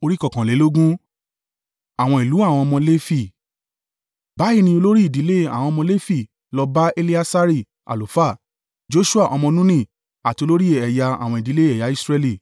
Báyìí ni olórí ìdílé àwọn ọmọ Lefi lọ bá Eleasari àlùfáà, Joṣua ọmọ Nuni àti olórí ẹ̀yà àwọn ìdílé ẹ̀yà Israẹli.